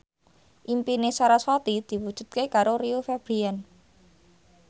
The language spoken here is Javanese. impine sarasvati diwujudke karo Rio Febrian